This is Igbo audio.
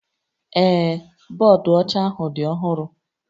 Ee, bọọdụ ọcha ahụ dị ọhụrụ